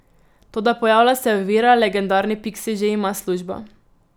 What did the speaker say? Toda pojavlja se ovira, legendarni Piksi že ima službo.